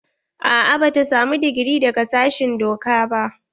A'a bata samu digiri daga sashen doka ba.